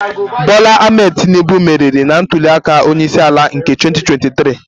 Bola Ahmed Tinubu meriri na ntuli aka onye isi ala nke 2023